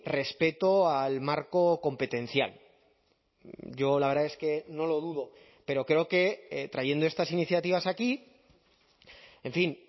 respeto al marco competencial yo la verdad es que no lo dudo pero creo que trayendo estas iniciativas aquí en fin